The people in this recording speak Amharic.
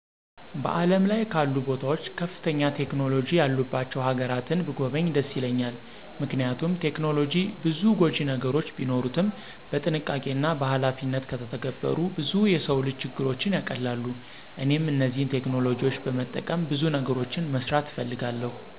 በዓለም ላይ ካሉ ቦታዎች ከፍተኛ ቴክኖሎጂ ያሉባቸው ሀገራትን ብጐበኝ ደስ ይለኛል። ምክንያቱም ቴክኖሎጂ ብዙ ጐጂ ነገሮች ቢኖሩትም በጥንቃቄና በኃላፊነት ከተተገበሩ ብዙ የሰው ልጅ ችግሮችን ያቀላሉ። እኔም እነዚህን ቴክኖሎጂዎች በመጠቀም ብዙ ነገሮችን መስራት እፈልጋለሁ።